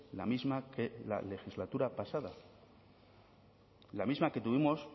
la misma que la legislatura pasada la misma que tuvimos